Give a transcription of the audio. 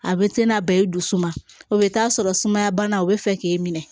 A bɛ te na ba ye i dusu man o bɛ taa sɔrɔ sumaya bana o bɛ fɛ k'i minɛ